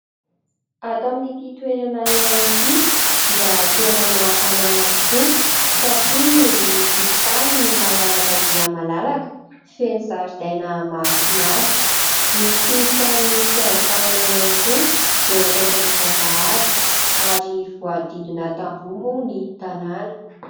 Ato amin'ity toerana iray ity dia tena mahatamana tokoa satria ny tokotany malalaka dia malalaka feno zaridaina mahafinaritra, misy tranon'ny mpiandry tanàna ihany koa eo akaikin'ny vavahady ary voahodidina tamboho moa ny tanàna.